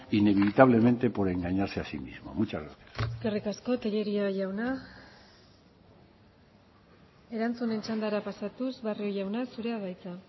inevitablemente por engañarse a sí mismo mucha gracias eskerrik asko tellería jauna erantzunen txandara pasatuz barrio jauna zurea da hitza